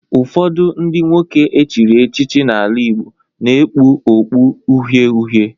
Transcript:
Ụfọdụ ndị nwoke echiri echichi n'ala Igbo na-ekpu okpu uhie uhie